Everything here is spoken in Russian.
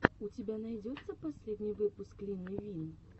у тебя найдется последний выпуск лины вин